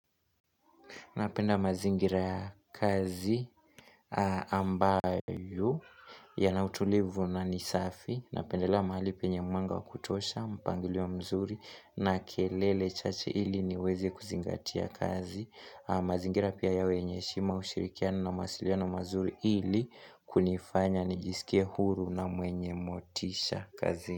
Napenda mazingira ya kazi ambayo ya nautulivu na nisafi. Napendela mahali penye mwanga kutosha, mpangilio mzuri na kelele chache ili niweze kuzingatia kazi. Mazingira pia ya wenye heshima ushirikiano na masiliano mazuri ili kunifanya nijisikie huru na mwenye motisha kazini.